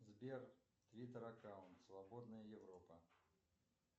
сбер твиттер аккаунт свободная европа